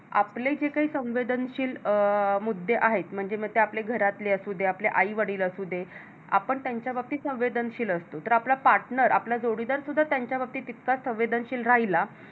आपले जे काही संवेदनशील अं मुद्दे आहेत म्हणजे मग ते आपल्या घरातले असूदे आपले आई वडील असुदे आपण त्यांच्या बाबतीत संवेदनशील असत तर आपला Partner आपला जोडीदार सुद्धा त्यांच्या बाबतीत तितकाच संवेदनशील राहिला